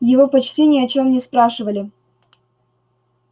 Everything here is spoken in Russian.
его почти ни о чем не спрашивали